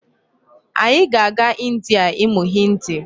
Anyị ga-aga India ịmụ Hindi.